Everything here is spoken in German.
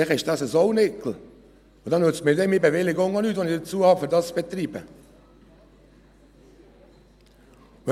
Vielleicht ist er ein «Sauniggel», und dann nützt mir die Bewilligung, die ich für den Betrieb habe, auch nichts.